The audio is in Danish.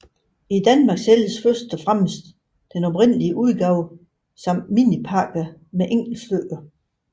I Danmark sælges primært den oprindelige udgave samt minipakker med enkeltstykker